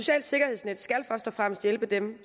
er det den